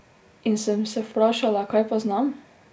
In sem se vprašala kaj pa znam?